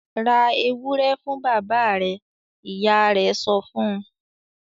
"Ra ewúrẹ́ fún bàbá rẹ̀!" Ìyá rẹ̀ sọ fún un.